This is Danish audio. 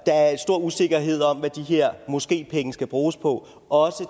stor usikkerhed om hvad de her måskepenge skal bruges på også